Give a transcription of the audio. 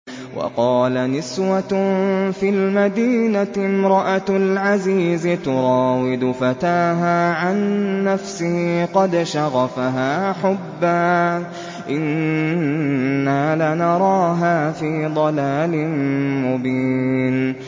۞ وَقَالَ نِسْوَةٌ فِي الْمَدِينَةِ امْرَأَتُ الْعَزِيزِ تُرَاوِدُ فَتَاهَا عَن نَّفْسِهِ ۖ قَدْ شَغَفَهَا حُبًّا ۖ إِنَّا لَنَرَاهَا فِي ضَلَالٍ مُّبِينٍ